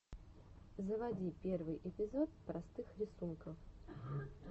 заводи первый эпизод простых рисунков